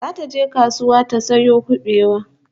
Zata je kasuwa ta sayo kubewa